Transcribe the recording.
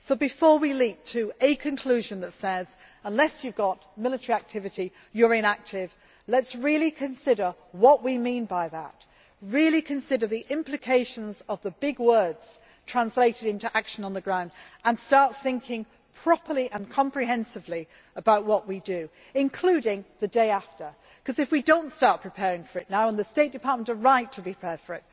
So, before we leap to the conclusion that unless you have military activity you are inactive, let us really consider what we mean by that. Let us really consider the implications of the big words translated into action on the ground and start thinking properly and comprehensively about what we do, including in the days after. Because if we do not start preparing for that now and the State Department are right to prepare for it